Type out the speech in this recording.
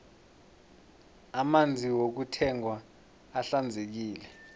amanzi wokuthengwa ahlanzekile